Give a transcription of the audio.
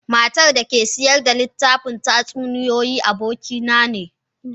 Matar da ke sayar da littafin tatsuniyoyi abokina ne.